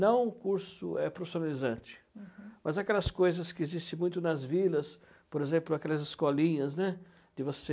Não o curso profissionalizante, uhum, mas aquelas coisas que existem muito nas vilas, por exemplo, aquelas escolinhas, né, que você...